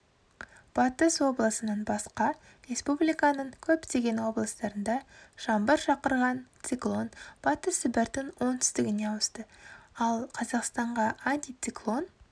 батыс облысынан басқа республиканың көптеген облыстарында жаңбыр шақырған циклон батыс сібірдің оңтүстігіне ауысты ал қазақстанға антициклон